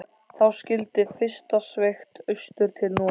Þá skyldi fyrst sveigt austur til Noregs.